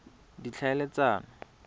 ditlhaeletsano